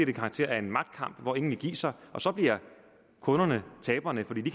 det karakter af en magtkamp hvor ingen vil give sig og så bliver kunderne taberne fordi de